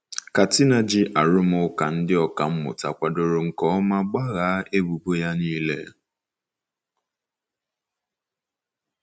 Katina ji arụmụka ndị ọkà mmụta kwadoro nke ọma gbaghaa ebubo ya nile.